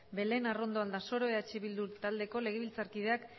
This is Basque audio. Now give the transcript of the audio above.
belén arrondo aldasoro eh bildu taldeko legebiltzarkideak